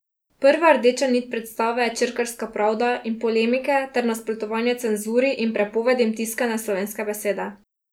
Prva rdeča nit predstave je črkarska pravda in polemike ter nasprotovanja cenzuri in prepovedim tiskane slovenske besede.